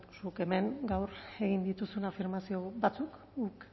guk hemen gaur egin dituzun afirmazio batzuk guk